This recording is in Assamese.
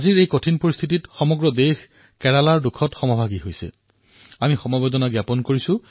আজি এই কঠিন পৰিস্থিতিত সমগ্ৰ দেশ কেৰালাৰ সৈতে থিয় দিছে